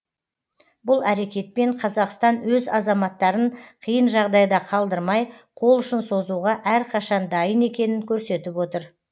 бұл әрекетпен қазақстан өз азаматтарын қиын жағдайда қалдырмай қол ұшын созуға әрқашан дайын екенін көрсетіп отыр